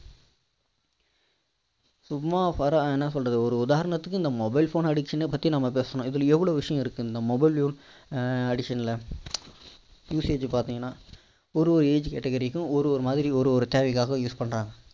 சும்மா வர என்ன சொல்றது ஒரு உதாரணத்துக்கு இந்த mobile phone addiction ன பற்றி நம்ம பேசுனோம் இதுல எவ்வளோ விஷயம் இருக்கு இந்த mobile phone addiction ல usage பார்த்தீங்கன்னா ஒரு ஒரு age category க்கும் ஒரு ஒரு மாதிரி ஒரு ஒரு தேவைக்காக use பண்றாங்க